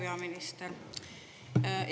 Hea peaminister!